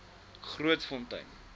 grootfontein